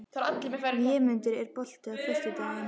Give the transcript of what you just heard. Vémundur, er bolti á föstudaginn?